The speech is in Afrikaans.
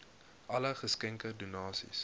alle geskenke donasies